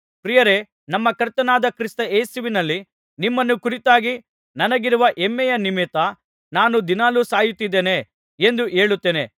ಪ್ರಿಯರೇ ನಮ್ಮ ಕರ್ತನಾದ ಕ್ರಿಸ್ತ ಯೇಸುವಿನಲ್ಲಿ ನಿಮ್ಮನ್ನು ಕುರಿತಾಗಿ ನನಗಿರುವ ಹೆಮ್ಮೆಯ ನಿಮಿತ್ತ ನಾನು ದಿನಾಲು ಸಾಯುತ್ತಲಿದ್ದೇನೆ ಎಂದು ಹೇಳುತ್ತೇನೆ